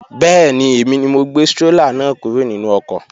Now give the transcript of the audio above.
Bẹ́ẹ̀ni, èmi ni mo gbé strólà náà kúrò nínú ọkọ̀